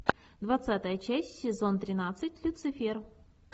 двадцатая часть сезон тринадцать люцифер